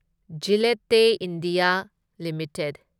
Gillette India limited